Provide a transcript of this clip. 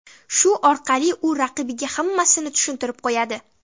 Shu orqali u raqibiga hammasini tushuntirib qo‘yadi.